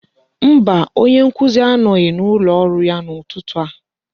Mba, onye nkuzi anọghị n'ụlọ ọrụ ya n'ụtụtụ a.